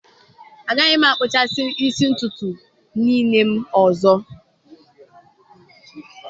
Agaghị m akpụchasi ntụtụ isi m niile ọzọ.